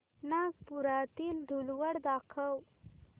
नागपुरातील धूलवड दाखव